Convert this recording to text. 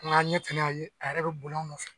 N ka a ɲɛ tana ya ye, a yɛrɛ be boli an nɔfɛ.